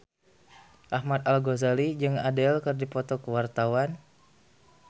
Ahmad Al-Ghazali jeung Adele keur dipoto ku wartawan